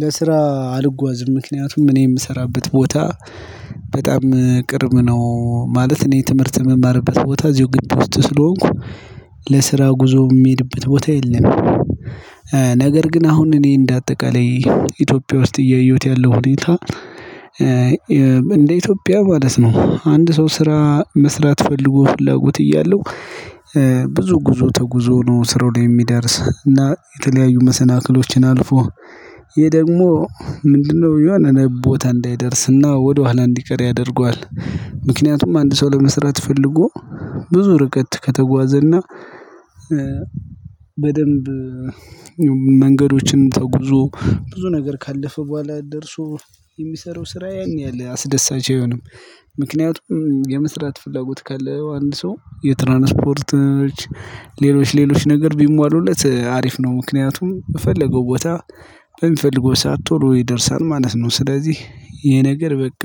ለስራ አልጓዝም ምክንያቱም እኔ የምሰራበት ቦታ በጣም ቅርብ ነው። ማለት እኔ ትምህርት የምማርበት ቦታ እዚሁ ግብ ውስጥ ስለሆንኩ ለስራ ጉዞ የሚሄድበት ቦታ የለም። ነገር ግን አሁን እኔ እንደ አጠቃላይ ኢትዮጵያ ውስጥ እያየሁት ያለው ሁኔታ። እንደ ኢትዮጵያ ማለት ነው አንድ ሰው ስራ መስራት ፈልጎ ፍላጎት እያለው። ብዙ ጉዞ ተጉዞ ነው ስሮውን የሚደርስ እና የተለያዩ መሰናክሎችን አልፎ። ይሄ ደግሞ ምንድነው? የሚሆነን ቦታ እንዳይደርስና ወደኋላ እንዲቀር ያደርገዋል። ምክንያቱም አንድ ሰው ለመስራት ፈልጎ። ብዙ ርቀት ከተጓዘና። በደንብ መንገዶችንም ተጉዞ ብዙ ነገር ካለፈ በኋላ ደርሶ የሚሰራው ስራ ያን ያህል ላያስደስት ይችላል። ምክንያቱም የመስራት ፍላጎት ካለው አንድ ሰው የትራንስፖርት ሌሎች ሌሎች ነገር ቢሟሉለት አሪፍ ነው። ምክንያቱም በፈለገው ቦታ በሚፈልገው ሰዓት ጥሩ ይደርሳል ማለት ነው። ስለዚህ ይሄ ነገር በቃ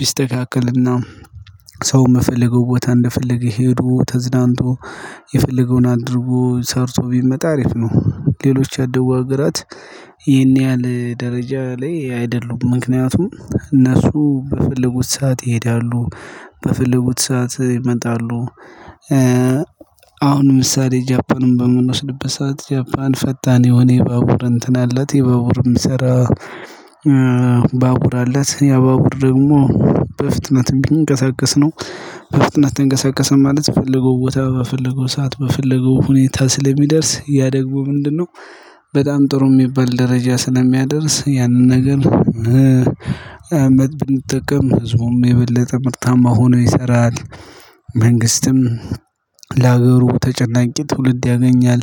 ቢስተካከልና ሰው የምፈልገው ቦታ እንደፈለገ ሄዶ ተዝናንቶ የፈለገውን አድርጎ ሰርቶ ቢመጣ አሪፍ ነው። ሌሎች ያደጉ ሀራት ይሄን ያህል ደረጃ ላይ አይደሉም ምክንያቱም እነሱ በፈለጉት ሰዓት ይሄዳሉ በፈለጉት ሰዓት ይመጣሉ። አሁን ምሳሌ ጃፓንን በምንወስድበት ሰዓት ጃፓን ፈጣን የሆነ የባቡር እንትን አላት የባቡርም ስራ። ባቡር አለት ያባቡር ደግሞ በፍጥነትም ቢንቀሳቀስ ነው። በፍጥነት ተንቀሳቀሰ ማለት ፈለገው ቦታ በፈለገው ሰዓት በፈለገው ሁኔታ ስለሚደርስ ያ ደግሞ ምንድነው? በጣም ጥሩ የሚባል ደረጃ ስለሚያደርስ ያንን ነገር። አመት የሚጠቀም ህዝቡም የበለጠ ምርታማ ሆኖ ይሰራል። መንግስትም ለሀገሩ ተጨናቂ ትውልድ ያገኛል።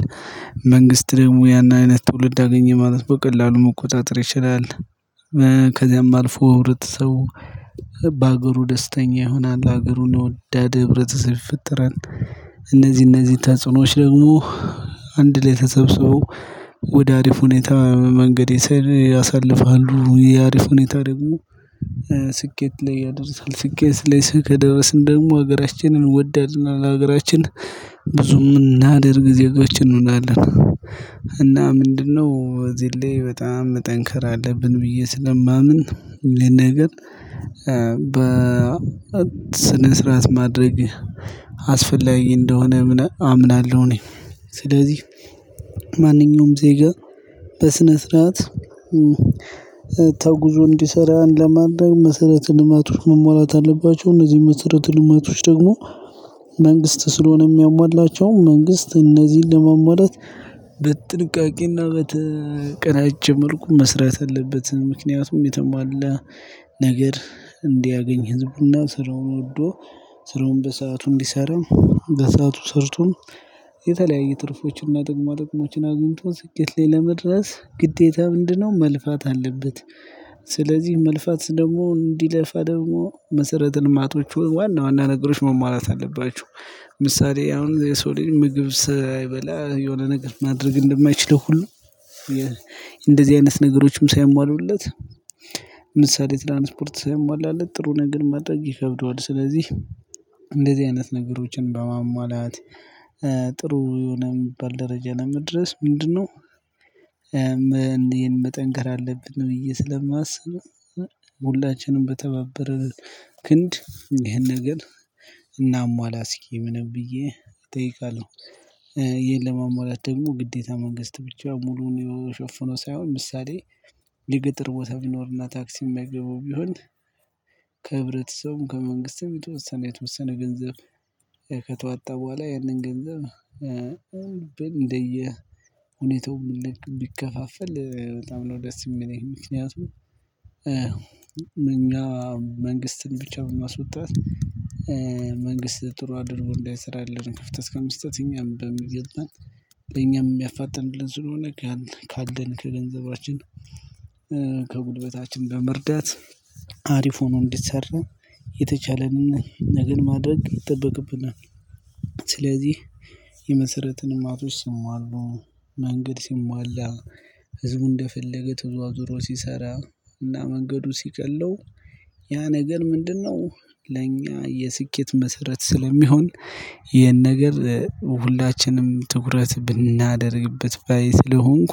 መንግስት ደግሞ ያንን አይነት ትውልድ ያገኘ ማለት በቀላሉ መቆጣጠር ይችላል። ከዚያም አልፎ ህብረተሰቡ በሀገሩ ደስተኛ ይሆናል ሀገሩን የወዳደ ህብረተሰብ ይፈጥራል። እነዚህ እነዚህ ተጽዕኖዎች ደግሞ አንድ ላይ ተሰብስበው ወደ አሪፍ ሁኔታ መንገድ ይሰር ያሳልፋሉ። የአሪፍ ሁኔታ ደግሞ ስኬት ላይ ያደርሳል። ስኬት ላይ ከደረስን ደግሞ ሀገራችንን ወዳድና ሀገራችን ብዙም እምናደርግ ዜጎች እንሆናለን። እና ምንድነው? በዚህ ላይ በጣም ጠንካር ያለ ብን ብዬ ስለማምን። ነገር በስነ ስርዓት ማድረግ አስፈላጊ እንደሆነ አምናለሁ። እኔ ስለዚህ ማንኛውም ዜጋ በስነ ስርዓት ተጉዞ እንዲሰራ ለማድረግ መሰረት ልማቶች መሟላት አለባቸው። እነዚህ መሰረት ልማቶች ደግሞ መንግስት ስለሆነ የሚያሟላቸው መንግስት እነዚህን ለመሟላት በጥንቃቄና በተቀናጀ መልኩ መስራት አለበትም። ምክንያቱም የተሟላ ነገር እንዲያገኝ ህዝቡና ስራውን ወዶ ስራውን በሰአቱ እንዲሰራ በሰአቱ ሰርቶን የተለያየ ትርፎችንና ጥቅማ ጥቅሞችን አግኝቶ ስኬት ላይ ለመድረስ ግዴታ ምንድነው? መልፋት አለበት። ስለዚህ መልፋት ደግሞ እንዲለፋ ደግሞ መሰረተ ልማቶቹ ዋና ዋና ነገሮች መሟላት አለባቸው። ምሳሌ አሁን የሰው ልጅ ምግብ ሳይበላ የሆነ ነገር ማድረግ እንደማይችል ሁሉ። እንደዚህ አይነት ነገሮችም ሳይሟሉለት ምሳሌ ትላንት ስፖርት ሳይሟላለት ጥሩ ነገር ማድረግ ይከብደዋል። ስለዚህ እንደዚህ አይነት ነገሮችን በማሟላት ጥሩ የሆነ የሚባል ደረጃ ለመድረስ ምንድነው? መጠንከር አለብን ነው ብዬ እማስብ ሁላችንም በተባበረ ክንድ ይሄን ነገር። እናሟላ እስኪ ምንም ብዬ እጠይቃለሁ። ይሄን ለማሟላት ደግሞ ግዴታ መንግስት ብቻ ሙሉውን የሾፍነው ሳይሆን ምሳሌ ሊገጥር ቦታ ቢኖርና ታክሲ የማይገባው ቢሆን። ከህብረተሰቡም ከመንግስትም የተወሰነ የተወሰነ ገንዘብ ከተዋጣ በኋላ ያንን ገንዘብ እንደየ ሁኔታው ምን ቢከፋፈል በጣም ነው ደስ የሚለኝ። ምክንያቱም እኛ መንግስትን ብቻ በማስወጣት መንግስት ጥሩ አድርጎ እንዳይሰራ የለንም። ክፍተት ከመስጠት እኛም በሚገባን እኛም የሚያፋጥንልን ስለሆነ። ካለን ከገንዘባችን ከጉልበታችን በመርዳት አሪፍ ሆኖ እንዲሰራ የተቻለንን ነገር ማድረግ ይጠበቅብናል። ስለዚህ የመሰረተ ልማቶች ሲሟሉ መንገድ ሲሟላ ህዝቡ እንደፈለገ ትውዛዙሮ ሲሰራ እና መንገዱ ሲቀለው ያ ነገር ምንድነው ለእኛ የስኬት መሰረት ስለሚሆን። ይሄን ነገር ሁላችንም ትኩረት ብናደርግበት ባይ ስለሆንኩ።